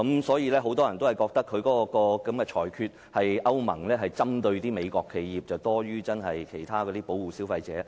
所以，很多人覺得歐盟的裁決是針對美國企業多於真正保護消費者。